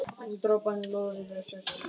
En droparnir loða við þótt þeir sjáist ekki.